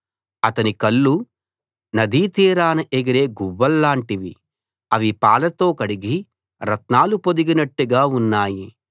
అతని కళ్ళు నదీతీరాన ఎగిరే గువ్వల్లాంటివి అవి పాలతో కడిగి రత్నాలు పొదిగినట్టుగా ఉన్నాయి